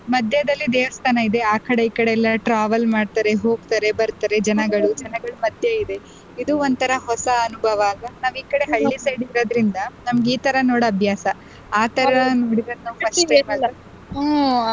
ಮದ್ಯದಲ್ಲಿ ದೇವಸ್ಥಾನ ಇದೆ ಆಕಡೆ ಈಕಡೆ ಎಲ್ಲ travel ಮಾಡ್ತಾರೆ ಹೋಗ್ತಾರೆ ಬರ್ತಾರೆ ಜನಗಳು ಜನಗಳ ಮಧ್ಯೆ ಇದೆ ಇದು ಒಂಥರಾ ಹೊಸ ಅನುಭವ ಅಲ್ವಾ ನಾವ್ ಈ ಕಡೆ ಹಳ್ಳಿ side ಇರೋದ್ರಿಂದ ನಮ್ಗೆ ಈತರ ನೋಡ್ ಅಭ್ಯಾಸ ಆತರ ನೋಡೋದು first time ಅಲ್ವಾ .